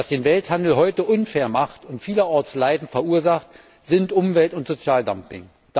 Was den Welthandel heute unfair macht und vielerorts Leiden verursacht, sind Umwelt und Sozialdumping.